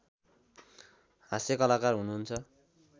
हास्यकलाकार हुनुहुन्छ